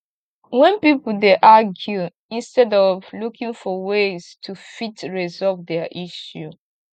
when pipo dey argue instead of looking for ways to fit resolve their issue